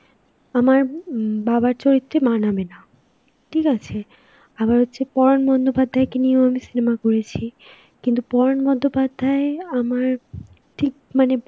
আমার হম বাবার চরিত্রে মানাবে না, ঠিক আছে. আবার হচ্ছে পরান বন্দ্যোপাধ্যায়কে নিয়েও আমি cinema করেছি. কিন্তু পরান বন্দ্যোপাধ্যায় আমার ঠিক মানে